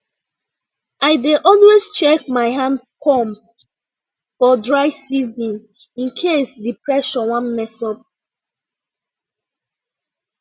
i dey always check my hand pump for dry season in case the pressure wan mess up